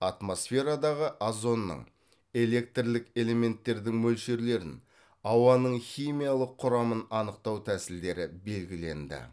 атмосферадағы озонның электрлік элементтердің мөлшерлерін ауаның химиялық құрамын анықтау тәсілдері белгіленді